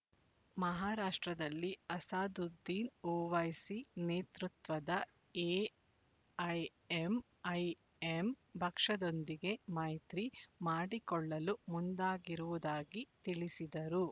ಮಹಾರಾಷ್ಟ್ರದಲ್ಲಿ ಅಸಾದುದ್ದೀನ್ ಓವೈಸಿ ನೇತೃತ್ವದ ಎಐಎಂಐಎಂ ಪಕ್ಷದೊಂದಿಗೆ ಮೈತ್ರಿ ಮಾಡಿಕೊಳ್ಳಲು ಮುಂದಾಗಿರುವುದಾಗಿ ತಿಳಿಸಿದರು